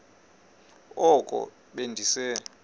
oko be ndise